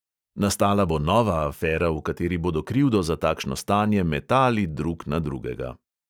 Nastala bo nova afera, v kateri bodo krivdo za takšno stanje metali drug na drugega.